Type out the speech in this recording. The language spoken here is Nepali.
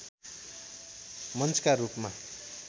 मञ्चका रूपमा